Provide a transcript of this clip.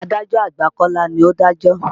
Adájọ́ àgbà Kọ́lá ni ó dájọ́.